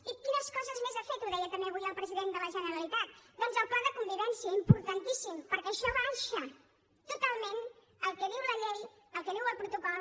i quines coses més ha fet ho deia també avui el president de la generalitat doncs el pla de convivència importantíssim perquè això baixa totalment el que diu la llei el que diu el protocol